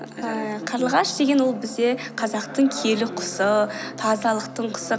ііі қарлығаш деген ол бізде қазақтың киелі құсы тазалықтың құсы